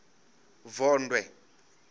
vondwe